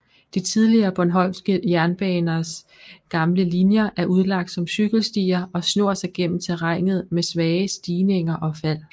De tidligere bornholmske jernbaners gamle linjer er udlagt som cykelstier og snor sig gennem terrænet med svage stigninger og fald